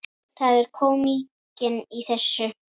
Það er kómíkin í þessu.